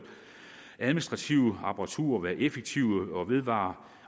administrative apparaturer og være effektive og vedvarende